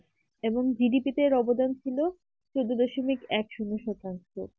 এবং GDP এর অবদান ছিল